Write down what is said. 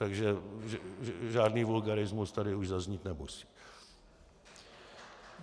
Takže žádný vulgarismus už tady zaznít nemusí.